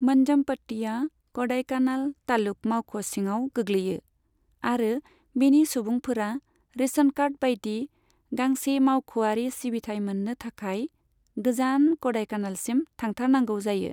मन्जमपट्टीया क'डाइकानाल तालुक मावख' सिङाव गोग्लैयो, आरो बेनि सुबुंफोरा रेशन कार्ड बायदि गांसे मावख'आरि सिबिथाइ मोन्नो थाखाय गोजान क'डाईकानालसिम थांथारनांगौ जायो।